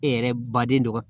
E yɛrɛ baden do